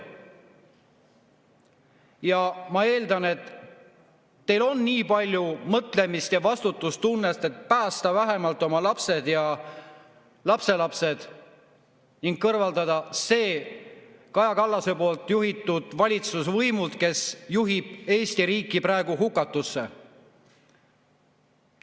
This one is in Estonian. Ja ma eeldan, et teil on nii palju mõtlemist ja vastutustunnet, et päästa vähemalt oma lapsed ja lapselapsed ning kõrvaldada see Kaja Kallase juhitud valitsus, kes juhib Eesti riiki hukatusse, võimult.